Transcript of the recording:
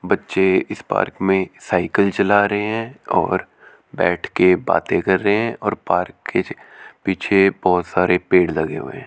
बच्चे इस पार्क में साइकिल चला रहे हैं और बैठ के बातें कर रहे हैं और पार्क के पीछे बहुत सारे पेड़ लगे हुए।